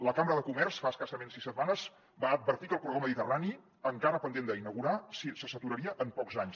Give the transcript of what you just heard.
la cambra de comerç fa escassament sis setmanes va advertir que el corredor mediterrani encara pendent d’inaugurar se se saturaria en pocs anys